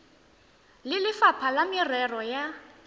le lefapha la merero ya